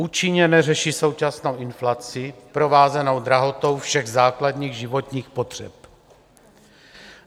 Účinně neřeší současnou inflaci provázenou drahotou všech základních životních potřeb.